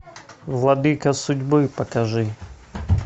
владыка судьбы покажи